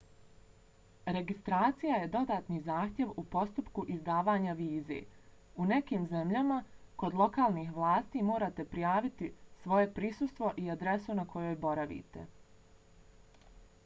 registracija je dodatni zahtjev u postupku izdavanja vize. u nekim zemljama kod lokalnih vlasti morate prijaviti svoje prisustvo i adresu na kojoj boravite